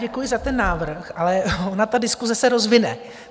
Děkuji za ten návrh, ale ona ta diskuse se rozvine.